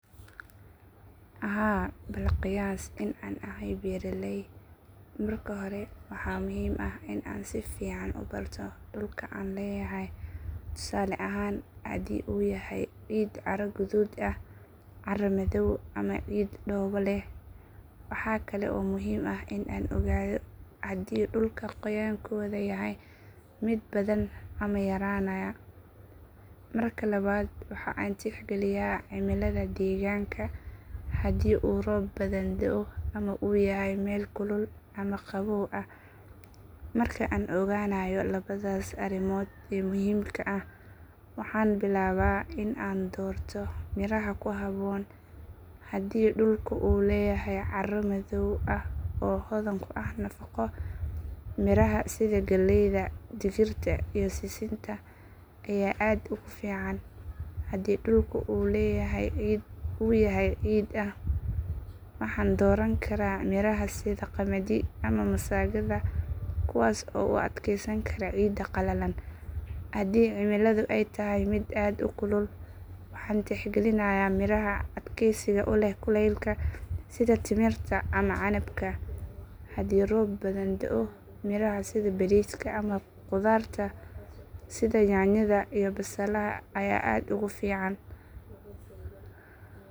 Haa bal qiyaas in aan ahay beeraley. Marka hore waxa muhiim ah in aan si fiican u barto dhulka aan leeyahay, tusaale ahaan haddii uu yahay ciid carro guduud ah, carro madow ama ciid dhoobo leh. Waxa kale oo muhiim ah in aan ogaado haddii dhulku qoyaankooda yahay mid badan ama yaraanaya. Marka labaad waxa aan tixgeliyaa cimilada deegaanka, haddii uu roob badan da'o ama uu yahay meel kulul ama qabow ah. Marka aan ogaanayo labadaas arrimood ee muhiimka ah, waxaan bilaabaa in aan doorto miraha ku habboon. Haddii dhulku uu leeyahay carro madow ah oo hodan ku ah nafaqo, miraha sida galleyda, digirta iyo sisinta ayaa aad ugu fiican. Haddii dhulku uu yahay ciid ah, waxaan dooran karaa miraha sida qamadi ama masagada kuwaas oo u adkaysan kara ciidda qalalan. Haddii cimiladu ay tahay mid aad u kulul, waxaan tixgelinayaa miraha adkaysiga u leh kuleylka sida timirta ama canabka. Haddii roob badan da'o, miraha sida bariiska ama khudaarta sida yaanyada iyo basalaha ayaa aad ugu fiican.